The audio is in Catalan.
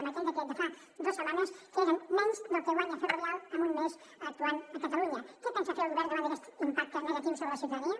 amb aquell decret de fa dues setmanes que és menys del que guanya ferrovial en un mes actuant a catalunya què pensa fer el govern davant d’aquest impacte negatiu sobre la ciutadania